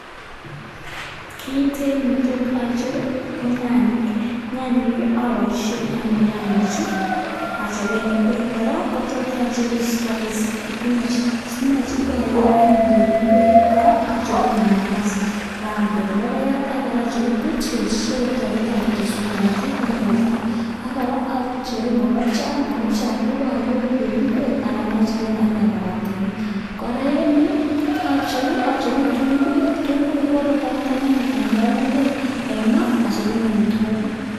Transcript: Kiiiten netot acher ko nyanyik, nyanyek apoishen anyun nyanyichu achopen ingwek kora kotot acheru spinach, spinech ko ayoe anyun koek ingwek, kora acherun mananasi akaam koek logoek ako kora acheru beetroot sikomuch kora koteswon korotik eng borto ak kora acheru mokopchiat, makpchiat ipoyoi koek ingwek anan achope ane makatinik. Kora, eng yu acheru kitunguuik, kitunguuik kokotoreti anyun eng kapunguinyun eng maa achopen amitwokik.